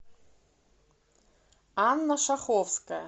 анна шаховская